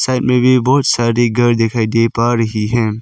मे भी बहोत सारे घर दिखाई दे पा रही हैं।